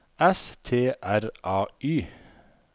S T R A Y